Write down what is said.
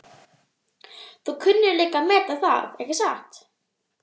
Þú kunnir líka að meta það, ekki satt?